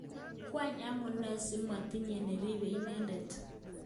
Kwang amune si komatinye nirepe ineten?